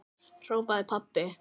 hrópaði pabbi.